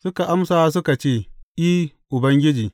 Suka amsa suka ce, I, Ubangiji.